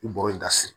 U bɔrɔ in dasi